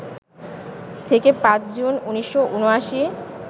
থেকে ৫ জুন ১৯৭৯